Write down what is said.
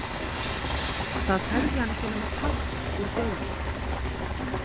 Það tæki hann ekki nema part úr degi.